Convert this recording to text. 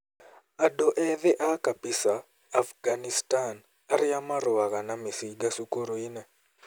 Andũ ethĩ a Kapisa, Afghanistan, arĩa marũaga na mĩcinga cukuru-inĩ